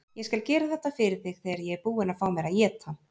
Ég skal gera þetta fyrir þig þegar ég er búinn að fá mér að éta.